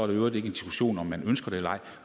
i øvrigt ikke en diskussion om om man ønsker det eller ej